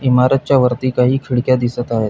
इमारत च्या वरती काही खिडक्या दिसत आहे.